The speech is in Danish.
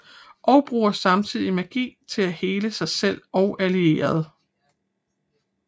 Og bruger samtidig magi til at hele sig selv og allierede